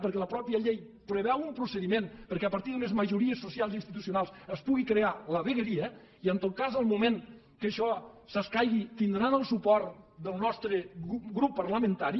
perquè la mateixa llei preveu un procediment perquè a partir d’unes majories socials i institucionals es pugui crear la vegueria i en tot cas en el moment que això s’escaigui tindran el suport de nostre grup parlamentari